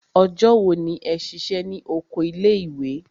Ọjọ́ wo ni ẹ ṣiṣẹ́ ní oko ilé ìwé?